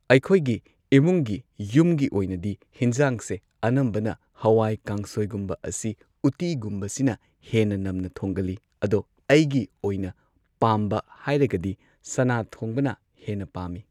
ꯑꯩꯈꯣꯏꯒꯤ ꯏꯃꯨꯡꯒꯤ ꯌꯨꯝꯒꯤ ꯑꯣꯏꯅꯗꯤ ꯍꯤꯟꯖꯥꯡꯁꯦ ꯑꯅꯝꯕꯅ ꯍꯋꯥꯏ ꯀꯥꯡꯁꯣꯏꯒꯨꯝꯕ ꯑꯁꯤ ꯎꯠꯇꯤꯒꯨꯝꯕꯁꯤꯅ ꯍꯦꯟꯅ ꯅꯝꯅ ꯊꯣꯡꯒꯜꯂꯤ ꯑꯗꯣ ꯑꯩꯒꯤ ꯑꯣꯏꯅ ꯄꯥꯝꯕ ꯍꯥꯏꯔꯒꯗꯤ ꯁꯅꯥ ꯊꯣꯡꯕꯅ ꯍꯦꯟꯅ ꯄꯥꯝꯃꯤ